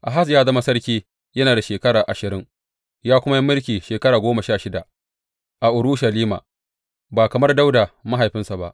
Ahaz ya zama sarki yana da shekara ashirin, ya kuma yi mulki shekara goma sha shida a Urushalima ba kamar Dawuda mahaifinsa ba.